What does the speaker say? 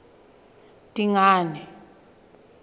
dingane